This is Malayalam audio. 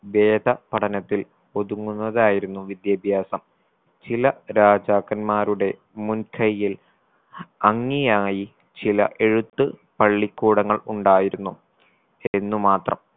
വേദ പഠനത്തിൽ ഒതുങ്ങുന്നതായിരുന്നു വിദ്യാഭ്യാസം ചില രാജാക്കന്മാരുടെ മുൻകയ്യിൽ അംഗീയായി ചില എഴുത്ത് പള്ളിക്കൂടങ്ങൾ ഉണ്ടായിരുന്നു എന്നുമാത്രം